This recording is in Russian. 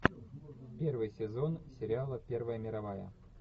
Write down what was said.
первый сезон сериала первая мировая